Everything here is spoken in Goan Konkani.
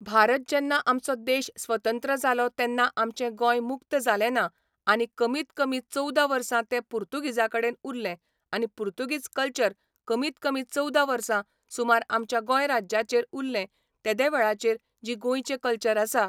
भारत जेन्ना आमचो देश स्वतंत्र जालो तेन्ना आमचें गोंय मुक्त जालें ना आनी कमीत कमी चोवदा वर्सां तें पुर्तूगीजां कडेन उरलें आनी पुर्तूगीज कल्चर कमीत कमी चवदा वर्सां सुमार आमच्या गोंय राज्याचेर उरलें तेदे वेळाचेर जी गोंयचें कल्चर आसा